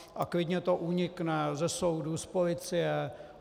A klidně to unikne ze soudu, z policie.